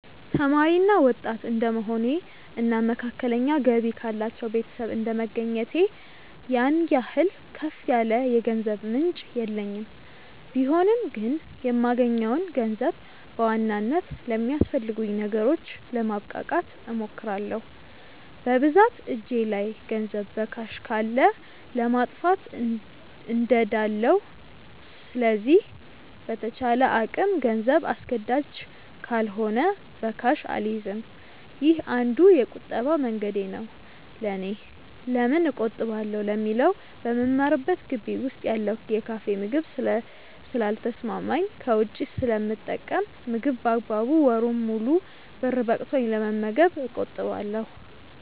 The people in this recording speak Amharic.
ተማሪ እና ወጣት እድንደመሆኔ እና መካከለኛ ገቢ ካላቸው ቤተሰብ እንደመገኘቴ ያን ያህል ከፍ ያለ የገንዘብ ምንጭ የለኝም ቢሆንም ግን የማገኘውን ገንዘብ በዋናነት ለሚያስፈልጉኝ ነገሮች ለማብቃቃት እሞክራለው። በብዛት እጄ ላይ ገንዘብ በካሽ ካለ ለማጥፋት እንደዳለው ስለዚህ በተቻለ አቅም ገንዘብ አስገዳጅ ካልሆነ በካሽ አልይዝም። ይህ አንዱ የቁጠባ መንገዴ ነው ለኔ። ለምን እቆጥባለው ለሚለው በምማርበት ግቢ ውስጥ ያለው የካፌ ምግብ ስለ ልተሰማማኝ ከውጪ ስለምጠቀም ምግብ በአግባቡ ወሩን ሙሉ ብር በቅቶኝ ለመመገብ እቆጥባለው።